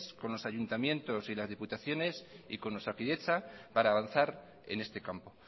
con los ayuntamientos y las diputaciones y con osakidetza para avanzar en este campo